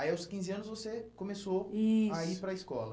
Aí, aos quinze anos, você começou, isso, a ir para a escola.